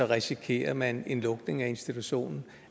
risikerer man en lukning af institutionen